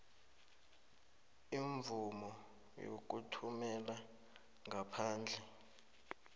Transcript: imvumo yokuthumela ngaphandle